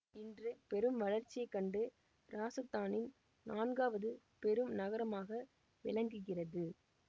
இன்று பெரும் வளர்ச்சியை கண்டு இராசத்தானின் நான்காவது பெரும் நகரமாக விளங்குகிறது